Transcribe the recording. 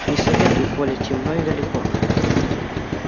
не советую коля темно и далеко